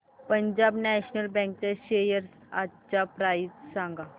Punjab National Bank च्या shares आजची price सांगा